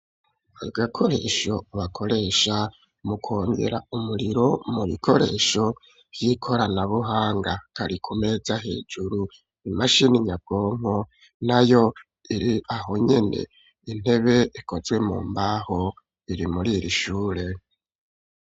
Agakoresho bakoresha mu kongera umuriro mu bikoresho vy'ikorana buhanga kari ku meza hejuru imashini nyabwonko nayo iri aho nyene intebe ikozwe mu mbaho iri muri iri shure.